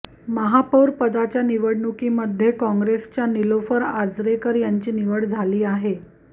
महापौर पदाच्या निवडणुकीमध्ये काँग्रेसच्या निलोफर आजरेकर यांची निवड झाली आहे